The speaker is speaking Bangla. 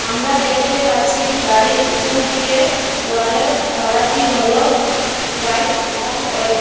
আমরা দেখতে পাচ্ছি গাড়ির পিছন দিকের ওয়ালের কালারটি হল হোয়াইট এবং অরেঞ্জ ।